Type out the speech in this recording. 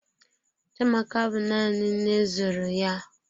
Chiamaka bụ nanị nne zụrụ ya.